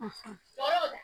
O yo da